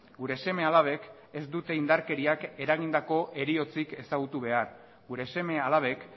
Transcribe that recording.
gure seme alabek ez dute indarkeriak eragindako heriotzik ezagutu behar gure seme alabek